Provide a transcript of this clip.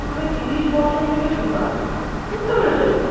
মানে ত্রিশ বছর থেকে সুগার, বুঝতে পেরেছো?